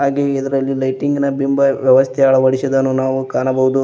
ಹಾಗೆ ಇದರಲ್ಲಿ ಲೈಟಿಂಗ್ ನ ಬಿಂಬ ವ್ಯವಸ್ಥೆ ಅಳವಡಿಸಿದನ್ನು ನಾವು ಕಾಣಬಹುದು.